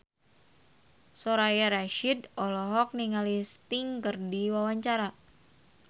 Soraya Rasyid olohok ningali Sting keur diwawancara